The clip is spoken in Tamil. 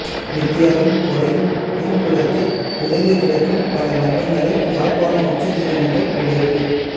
வித்தியாவின் கொலையின் பின்புலத்தில் புதைந்து கிடைக்கும் பல மர்மங்களை யாழ்ப்பாண உச்ச நீதிமன்றம் உடைத்து